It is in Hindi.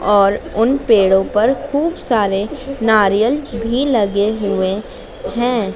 और उन पेड़ो पर खूब सारे नारियल भी लगे हुए हैं।